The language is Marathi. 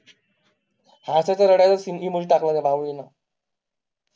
हसायचं रडायचं singing मधी टाकलं ना भाऊ हो